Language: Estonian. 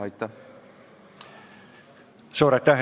Suur aitäh!